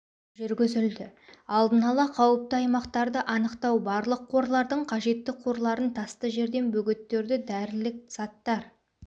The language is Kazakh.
жүргізілді алдын ала қауіпті аймақтарды анықтау барлық қорлардың қажетті қорларын тасты жерден бөгеттерді дәрілік заттар